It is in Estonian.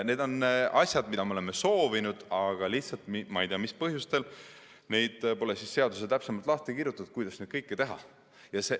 Need on asjad, mida me oleme soovinud, aga ei tea mis põhjustel pole seaduses täpsemalt lahti kirjutatud, kuidas kõike seda teha.